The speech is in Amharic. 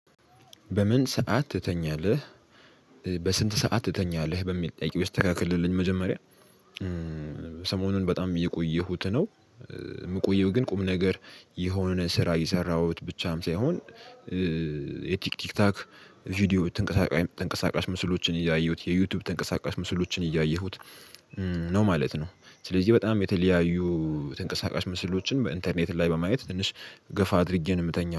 በምን ሰዓት ትተኛለህ? በስንት ሰዓት ትተኛለህ በሚል ጥያቄ ይስተካክልልኝ መጀመሪያ ሰሞኑን በጣም እየቆየሁት ነው። የምቆየው ግን ቁም ነገር የሆነ ስራ እየሰራሁ ብቻም ሳይሆን የቲክታክ ቪዲዮ ተንቀሳቃሽ ምስሎችን እያየሁ የዩቲዩብ ተንቀሳቃሽ ምስሎችን እያየሁ ነው ማለት ነው። ስለዚህ በጣም የተለያዩ ተንቀሳቃሽ ምስሎችን በኢንተርኔት ላይ በማየት ትንሽ ገፋ አድርጌ ነው የምተኛው